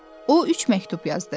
O üç məktub yazdı.